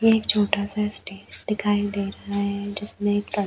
ये एक छोटा-सा स्टेट दिखाई दे रहा है जिसमे एक ट्रम्प --